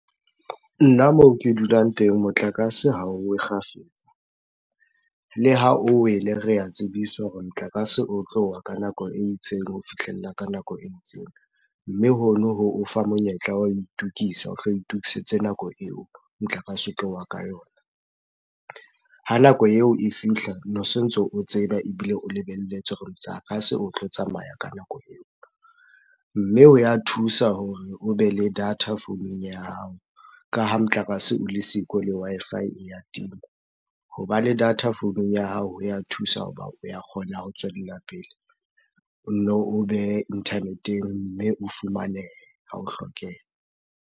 Nna moo ke dulang teng motlakase ha o we kgafetsa. Le ha o wele, re a tsebiswa hore motlakase o tlo wa ka nako e itseng ho fihlella ka nako e itseng. Mme hono ho o fa monyetla wa ho itokisa, o hlo itokisetse nako eo motlakase o tlo wa ka yona. Ha nako eo e fihla, nosontso o tseba ebile o lebelletse hore motlakase o tlo tsamaya ka nako eo. Mme ho ya thusa hore o be le data founung ya hao, ka ha motlakase o le siko le Wi-Fi e ya tima. Hoba le data founung ya hao ho ya thusa hoba o ya kgona ho tswella pele. O nno o behe internet-eng, mme o fumanehe ha o hlokeha.